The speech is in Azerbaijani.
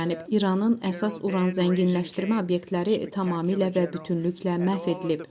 İranın əsas Uran zənginləşdirmə obyektləri tamamilə və bütünlüklə məhv edilib.